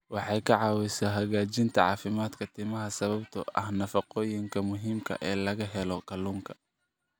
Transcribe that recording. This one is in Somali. Waxay ka caawisaa hagaajinta caafimaadka timaha sababtoo ah nafaqooyinka muhiimka ah ee laga helo kalluunka.